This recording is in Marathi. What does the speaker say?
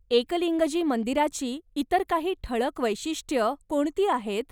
एकलिंगजी मंदिराची इतर काही ठळक वैशिष्ट्यं कोणती आहेत?